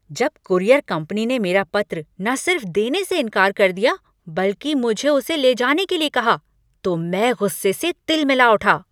जब courier company ने मेरा पत्र न सिर्फ देने से इनकार कर दिया बल्कि मुझे उसे ले जाने के लिए कहा तो मैं गुस्से से तिलमिला उठा।